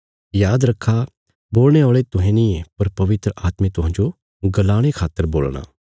याद रखा बोलणे औल़े तुहें नींये पर पवित्र आत्मे तुहांजो गलाणे खातर बोलणा